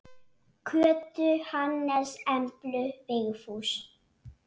Kötu, Hannes, Emblu, Vigfús.